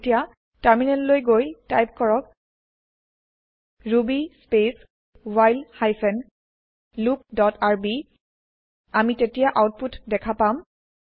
এতিয়া টাৰ্মিনেল লৈ গৈ টাইপ কৰক ruby space while hyphen loop dot rb আমি তেতিয়া আউতপুত দেখা পাম